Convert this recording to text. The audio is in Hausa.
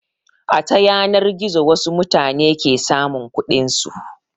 A ta yanar gizo wasu mutane ke samun kuɗin su.